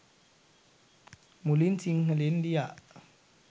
මුලින් සිංහලෙන් ලියා